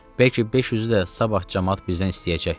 Bəlkə 500-ü də sabah camaat bizdən istəyəcək.